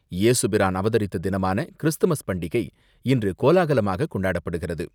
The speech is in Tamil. ஏசுபிரான் அவதரித்த தினமான கிறிஸ்துமஸ் பண்டிகை இன்று கோலாகலமாகக் கொண்டாடப்படுகிறது.